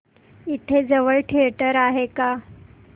इथे जवळ थिएटर आहे का